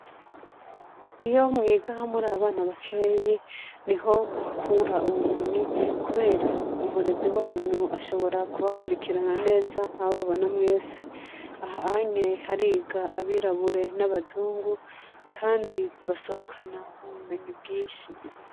Iyo mwiga murabana bakeyi niho muhakura ubumenyi kubera umurezi wanyu ashobora ku akwirikirana neza ababona mwese aha hanye hariga abirabure nabazungu kandi basohokana ubumenyi bwinshi